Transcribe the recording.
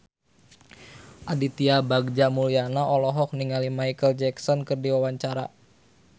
Aditya Bagja Mulyana olohok ningali Micheal Jackson keur diwawancara